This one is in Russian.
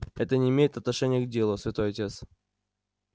это не имеет отношения к делу святой отец